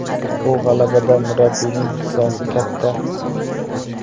Bu g‘alabada murabbiyning hissasi katta!